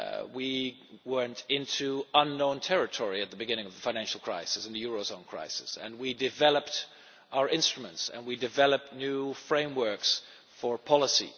We went into unknown territory at the beginning of the financial crisis, in the eurozone crisis, and we developed our instruments and we developed new frameworks for policy.